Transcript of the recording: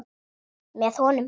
Með honum.